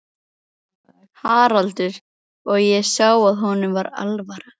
Haraldur og ég sá að honum var alvara.